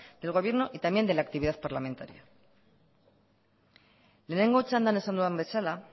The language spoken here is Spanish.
del gobierno y también de la actividad parlamentaria lehenengo txandan esan dudan bezala